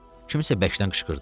Kimsə bərkdən qışqırdı.